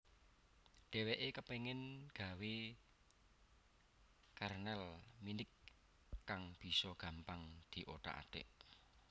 Dhèwèké kepéngin gawé kernel Minix kang bisa gampang diothak athik